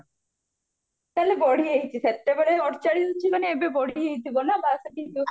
ତାହେଲେ ବଢି ଯାଇଚି ସେତେବେଳେ ଅଡଚାଳିଶ ଅଛି ମାନେ ବଢି ଯାଇଥିବ ନା ବାଷଠି ଥିବା